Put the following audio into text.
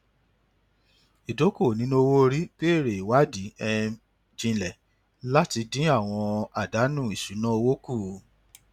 ìdókòwò nínú owó orí béèrè ìwádìí um jinlẹ láti dín àwọn àdánù ìṣúnná owó kù